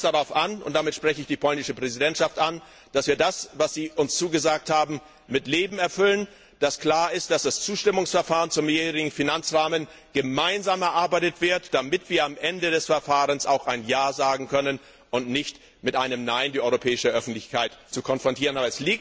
Und nun kommt es darauf an, und damit spreche ich die polnische Präsidentschaft an, dass wir das, was Sie uns zugesagt haben, mit Leben erfüllen, dass klar ist, dass das Zustimmungsverfahren zum Mehrjährigen Finanzrahmen gemeinsam erarbeitet wird, damit wir am Ende des Verfahrens auch Ja sagen können und die europäische Öffentlichkeit nicht mit einem Nein konfrontieren.